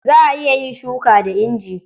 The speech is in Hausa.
Za a iya yin shuka da inji.